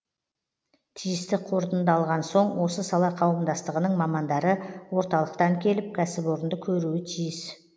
тиісті қорытынды алған соң осы сала қауымдастығының мамандары орталықтан келіп кәсіпорынды көруі тиіс